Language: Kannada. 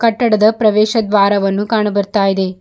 ಕಟ್ಟಡದ ಪ್ರವೇಶ ದ್ವಾರವನು ಕಾನು ಬರ್ತಾ ಇದೆ.